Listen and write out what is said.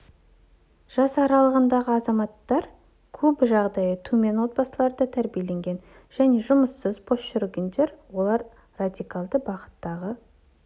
жас аралығындағы азаматтар көбі жағдайы төмен отбасыларда тәрбиеленген және жұмыссыз бос жүргендер олар радикалды бағыттағы